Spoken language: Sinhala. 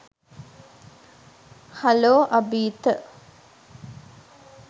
හලෝ අභීත